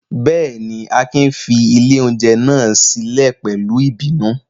Bẹ́ẹ̀ ni, Akin fi ilé-oúnjẹ náà sílẹ̀ pẹ̀lú ìbínú.